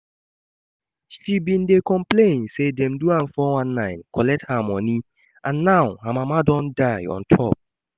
She bin dey complain say dem do am 419 collect her money and now her mama don die on top